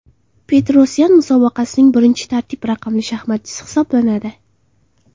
Petrosyan musobaqaning birinchi tartib raqamli shaxmatchisi hisoblanadi.